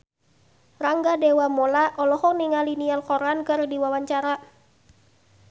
Rangga Dewamoela olohok ningali Niall Horran keur diwawancara